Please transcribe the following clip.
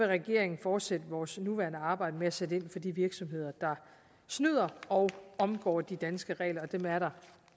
regeringen fortsætte vores nuværende arbejde med at sætte ind de virksomheder der snyder og omgår de danske regler dem er der